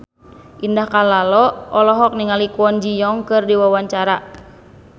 Indah Kalalo olohok ningali Kwon Ji Yong keur diwawancara